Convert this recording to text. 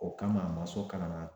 O kama a ma so kana na